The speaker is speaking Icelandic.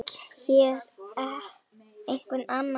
Vill hér einhver annað hrun?